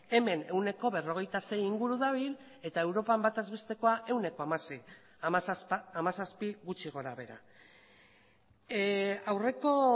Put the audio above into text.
hemen ehuneko berrogeita sei inguru dabil eta europan bataz bestekoa ehuneko hamaseihamazazpi gutxi gora behera aurreko